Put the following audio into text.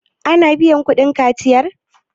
ana biyar kudin kaciyar?